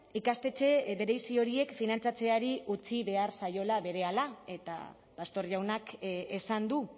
ikastetxe berezi horiek finantzatzeari utzi behar zaiola berehala eta pastor jaunak esan du